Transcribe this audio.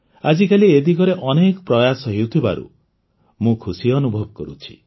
ଆଜିକାଲି ଏ ଦିଗରେ ଅନେକ ପ୍ରୟାସ ହେଉଥିବାରୁ ମୁଁ ଖୁସି ଅନୁଭବ କରୁଛି